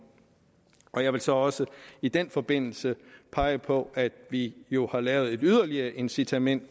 og jeg vil så også i den forbindelse pege på at vi jo har lavet et yderligere incitament